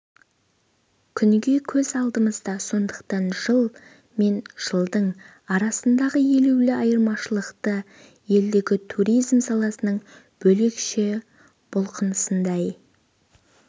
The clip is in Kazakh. күнге көз алдымызда сондықтан жыл мен жылдың арасындағы елеулі айырмашылықты елдегі туризм саласының бөлекше бұлқынысындай